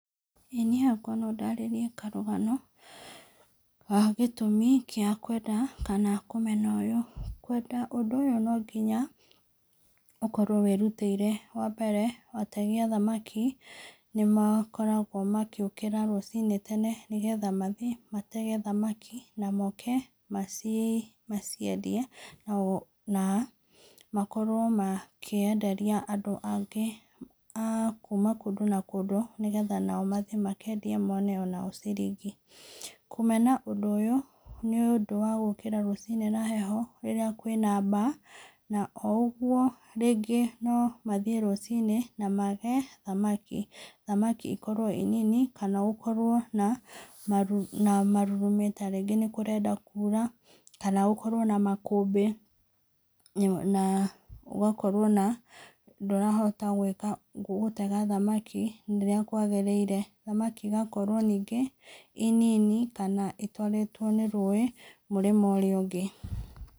Ĩĩ niĩ hakwa no ndarĩrie karũgano, ga gĩtũmi gĩa kwenda kana kũmena ũyũ, kwenda ũndũ ũyũ no nginya ũkorwo wĩrũtĩire, wa mbere, ategi a thamaki nĩ makoragwo magĩũkĩra rũcinĩ tene nĩgetha mathiĩ matege thamaki na moke maci maciendie, nao na makorwo makĩenderia andũ angĩ a kuma kũndũ na kũndũ, nĩgetha nao mathiĩ makendie mone onao ciringi, kũmena ũndũ ũyũ, nĩ ũndũ wa gũkĩra rũcinĩ na heho , rĩrĩa kwĩna baa, na o ũgwo rĩngĩ no mathiĩ rũcinĩ na mage thamaki, thamaki ikorwo i nini , kana gũkorwo na maru marurume , ta rĩngĩ nĩ kũrenda kuura , kana gũkorwo na makũmbĩ , na gũgakorwo na ndũrahota gwĩka gũtega thamaki rĩrĩa kwagĩrĩire, thamaki igakorwo ningĩ, i nini kana itwaritwo nĩ rũĩ mwena ũrĩa ũngĩ.